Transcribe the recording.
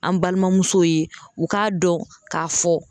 An balimamusow ye u k'a dɔn k'a fɔ.